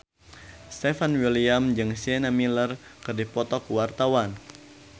Stefan William jeung Sienna Miller keur dipoto ku wartawan